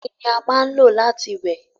Omi ni a máa n lo láti wẹ̀